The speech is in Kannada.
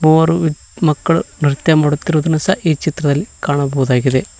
ಮೂವರು ವಿದ್ ಮಕ್ಕಳು ನೃತ್ಯ ಮಾಡುತ್ತಿರುವುದನ್ನು ಸಹ ಈ ಚಿತ್ರದಲ್ಲಿ ಕಾಣಬಹುದಾಗಿದೆ.